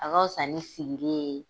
A ka fusa ni sigili ye.